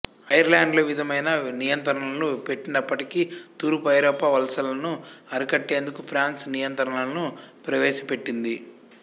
ఐర్లాండ్లో విధమైన నియంత్రణలు పెట్టనప్పటికీ తూర్పు ఐరోపా వలసలను అరికట్టేందుకు ఫ్రాన్స్ నియంత్రణలను ప్రవేశపెట్టింది